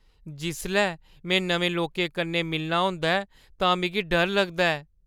जिसलै में नमें लोकें कन्नै मिलना होंदा ऐ तां मिगी डर लगदा ऐ।